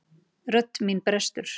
Rödd mín brestur.